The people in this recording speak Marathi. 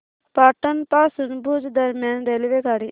पाटण पासून भुज दरम्यान रेल्वेगाडी